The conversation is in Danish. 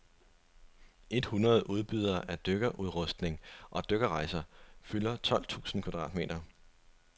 Et hundrede udbydere af dykkerudrustning og dykkerrejser fylder tolv tusind kvadratmeter.